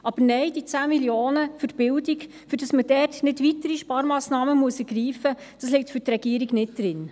Aber nein, diese 10 Mio. Franken für die Bildung, damit man dort nicht weitere Sparmassnahmen ergreifen muss, liegen für die Regierung nicht drin.